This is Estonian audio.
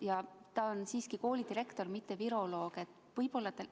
Ja ta on siiski koolidirektor, mitte viroloog.